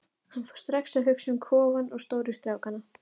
Hann fór strax að hugsa um kofann og stóru strákana.